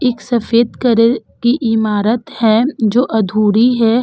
एक सफेद करर की इमारत है जो अधूरी है।